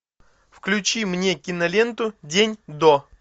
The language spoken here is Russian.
включи мне киноленту день до